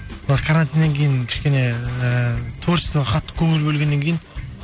мына карантиннен кейін кішкене ыыы творчестваға қатты көңіл бөлгеннен кейін